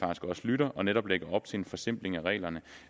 også lytter og netop lægger op til en forsimpling af reglerne